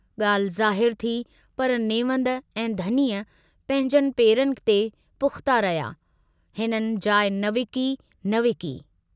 गाल्हि ज़ाहिरु थी पर नेवंद ऐं धनी पंहिंजनि पेरनि ते पुख्ता रहिया, हिननि जाइ न विकी न विकी।